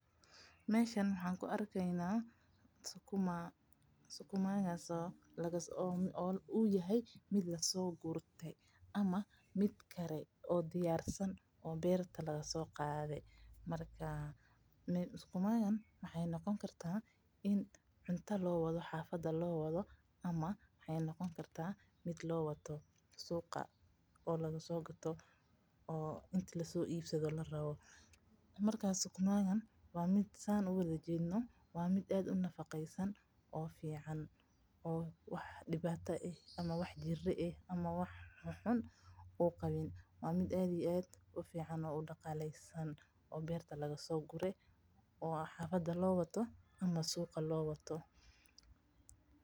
Meeshan waxaa ku arkaaya sukuma uu yahay mid lasoo gurte ama mid kare oo diyaarsan oo beerta laga soo qaade waxaay noqon kartaa mid loo wado cida ama suuqa, waa mid aad ufican oo nafaqeeana, waa mid aad iyo aad udalesan oo suuqa ama xafada loo wato.